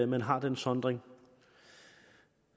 man har den sondring